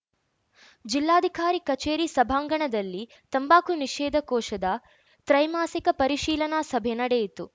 ಜಿಲ್ಲಾಧಿಕಾರಿ ಕಚೇರಿ ಸಭಾಂಗಣದಲ್ಲಿ ತಂಬಾಕು ನಿಷೇಧ ಕೋಶದ ತ್ರೈಮಾಸಿಕ ಪರಿಶೀಲನಾ ಸಭೆ ನಡೆಯಿತು